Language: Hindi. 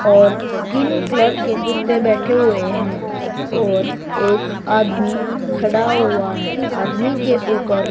और स्किन कलर के कुत्ते बैठे हुए हैं और एक आदमी खड़ा हुआ है आदमी के ऊपर--